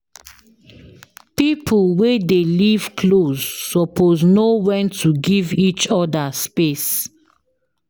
Pipo wey dey live close suppose know wen to give each oda space.